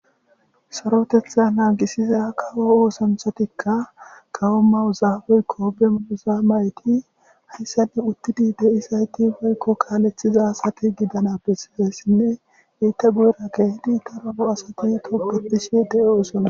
sarotetha naagisiza kawo oosanthatikka kawo mayoza woyikko be mayoza mayid uzaabeykkoobea uzaa mayti hayssanne uttidi de'izayie beykko kaalethiza asati gidana besizayisinne hinte guyera kehid daro asati togetishe de'o osona